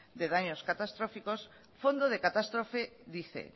de daños catastróficos fondo de catástrofe dice